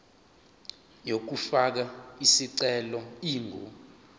yokufaka isicelo ingu